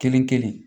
Kelen kelen